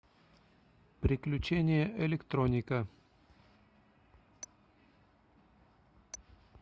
приключения электроника